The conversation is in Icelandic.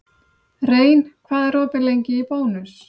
Rein, hvað er opið lengi í Bónus?